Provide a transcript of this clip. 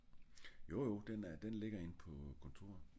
Jo jo den er den ligger inde på kontoret